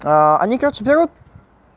они короче берут